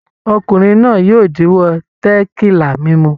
Ọkùnrin náà yóò díwọ́ tẹ̀kílà mímu.